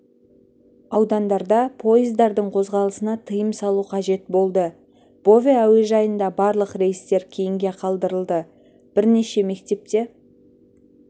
аудандарда пойыздардың қозғалысына тыйым салу қажет болды бове әуежайында барлық рейстер кейінгі қалдырылды бірнеше мектепте